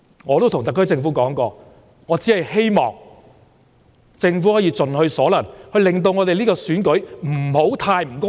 我曾告訴特區政府，我只是希望政府能夠盡其所能，令選舉不會過於不公平。